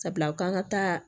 Sabula u k'an ka taa